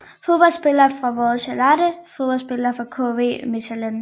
Fodboldspillere fra Royal Charleroi Fodboldspillere fra KV Mechelen